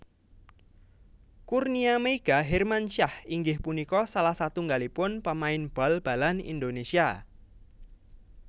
Kurnia Meiga Hermansyah inggih punika salah satunggalipun pamain bal balan Indonésia